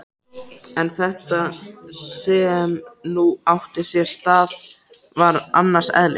En þetta sem nú átti sér stað var annars eðlis.